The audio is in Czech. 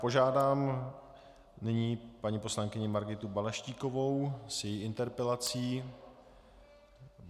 Požádám nyní paní poslankyni Margitu Balaštíkovou o její interpelaci.